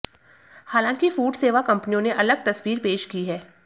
हालांकि फूड सेवा कंपनियों ने अलग तस्वीर पेश की है